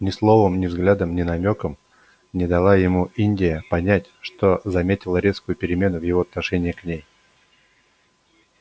ни словом ни взглядом ни намёком не дала ему индия понять что заметила резкую перемену в его отношении к ней